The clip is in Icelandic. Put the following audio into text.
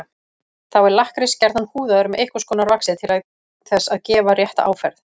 Þá er lakkrís gjarnan húðaður með einhvers konar vaxi til þess að gefa rétta áferð.